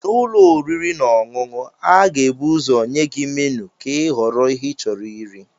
N'ụlọ oriri na ọṅụṅụ, a ga-ebu ụzọ nye gị menu ka ịhọrọ ihe ịchọrọ iri.